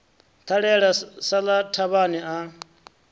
ṱalela sa ḽa thavhani a